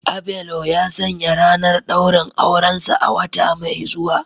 Abelo ya sanya ranar daurin aurensa a wata mai zuwa